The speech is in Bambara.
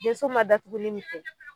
Denso ma datuguli min kɛ